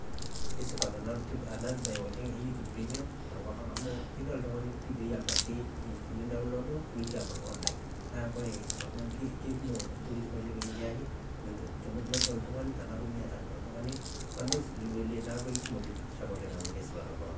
kesupat ena e premium tenkop ang amu kedol oltungani apikaki nidownlodo nitii abaki online nakoree kebaiki ntokiting nikiyaki pedol oltungani teneaku miata bundles abaki nidolie neaku kumok likisham oleng amu keaku supat tenkop ang'